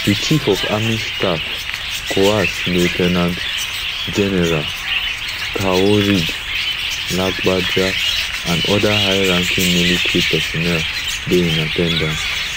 di chief of army staff coas lieu ten ant general taoreed lagbaja and oda high ranking military personnel dey in at ten dance